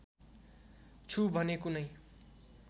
छु भने कुनै